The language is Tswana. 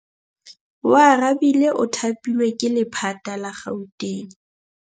Oarabile o thapilwe ke lephata la Gauteng.